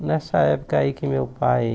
Nessa época aí que meu pai...